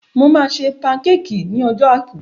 Mo máa ṣe pankéékìì ní ọjọ́ àìkú.